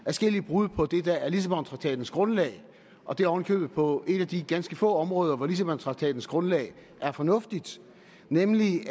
adskillige brud på det der er lissabontraktatens grundlag og det oven i købet på et af de ganske få områder hvor lissabontraktatens grundlag er fornuftigt nemlig